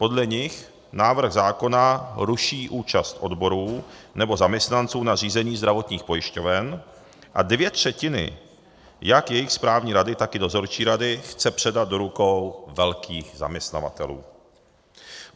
Podle nich návrh zákona ruší účast odborů nebo zaměstnanců na řízení zdravotních pojišťoven a dvě třetiny jak jejich správní rady, tak i dozorčí rady chce předat do rukou velkých zaměstnavatelů.